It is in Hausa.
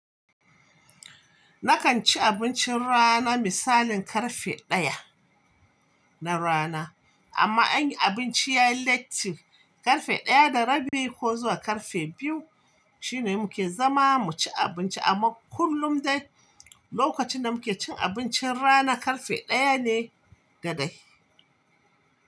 Nakan ci abincin rana misalin karfe ɗaya na rana, amma anyi abinci yayi late karfe ɗaya da rabi ko zuwa karfe biyu shine muke zama mu ci abinci amma kullum dai lokacin da muke cin abincin rana karfe ɗaya ne da dai.